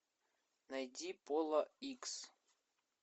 найди пола икс